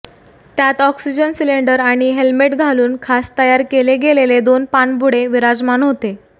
त्यात oxygen cylinder आणि helmet घालून खास तयार केले गेलेले दोन पाणबुडे विराजमान होते